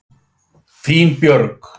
Þín Björg.